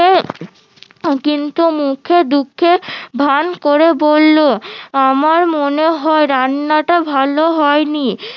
কিন্তু মুখে দুঃখের ভান করে বললো আমার মনে হয় রান্নাটা ভালো হয়নি